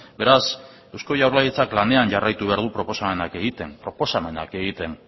beraz eusko jaurlaritzak lanean jarraitu behar du proposamenak egiten proposamenak egiten